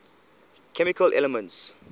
chemical elements